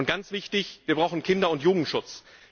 Ganz wichtig ist Wir brauchen Kinder und Jugendschutz.